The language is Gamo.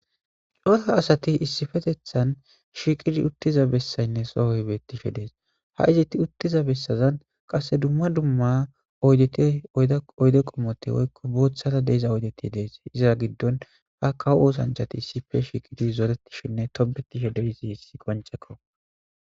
Coota asati issifetethan shiiqidi uttiza bessaynne sohoybettishe dees ha iziti uttiza bessazan qasse dumma dumma dtoyde qomote woykko boothara deiza oydeti dees iza giddon ha kawo oosanchati issife shiiqidi zooretishinne tobetishe deysi isi qoncekko